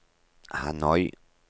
Hanoi